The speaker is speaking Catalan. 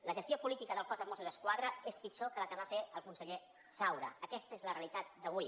la gestió política del cos de mossos d’esquadra és pitjor que la que va fer el conseller saura aquesta és la realitat d’avui